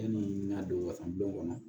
Yanni n ka don wasa don kɔnɔ